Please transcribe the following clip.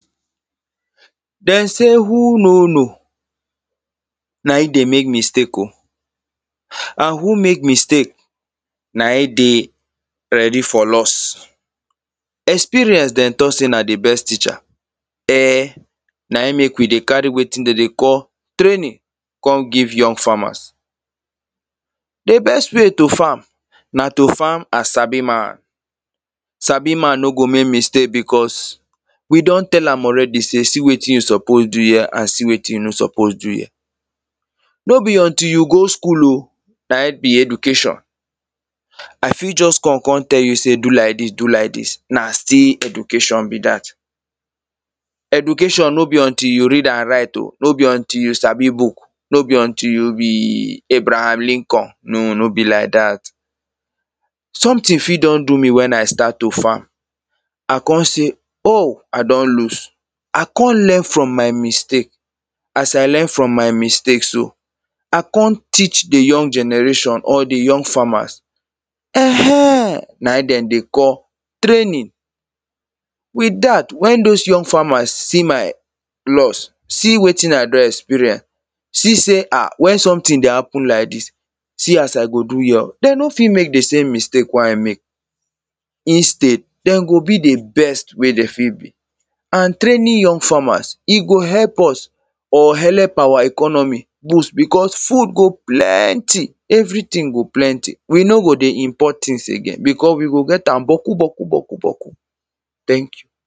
Them say who no know, na im dey mek mistake o. And who mek mistake, na im dey ready for loss Experience them talk say na the best teacher, eh na e mek we dey carry wetin them dey call training come give young farmers. A best way to farm, na to farm 'I sabi man' Sabi man no go mek mistake because we don tell am already say see wetin you suppose do here, and see wetin you no suppose do here. No be until you go school o na im be education. I fit just come, come tell you say 'do lak dis, do lak dis' na still education be dat. Education no be until you read and write o. No be until you sabi book. No be until you be Abraham Lincoln. No, no be lak dat. Something fit don do me when I start to farm. I come say 'o, I don loss' I com learn from my mistake. As I learn from my mistake so, I come teach the young generation or the young farmers. um Na im them dey call training. With dat, when those young farmers see my loss, see wetin I don experience, see say, um when something dey happen lak dis, see as I go do here o, them no fit mek the same mistake wey I mek. Instead, them go be the best wey them fit be, and training young farmers, e go help us or help our economy boost, because food go plenty. Everything go plenty. We no go dey import things again because we go get am boku, boku, boku, boku. Thank you!